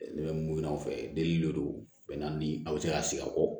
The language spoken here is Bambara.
Ne bɛ mun ɲini aw fɛ deli a bɛ se ka sigi a kɔ